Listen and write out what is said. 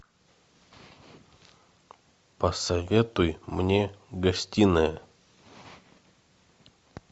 посоветуй мне гостиная